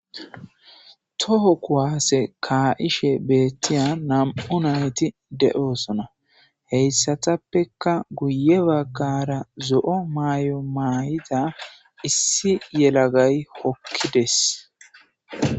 Toho kuwaase ka7ishe beettiya nam7u nayti de7osona heyssatappeka guye baggara zo7o maay7o maayida issi yelagay hokkides.